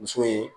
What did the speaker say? Muso ye